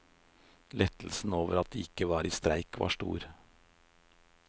Lettelsen over at de ikke var i streik var stor.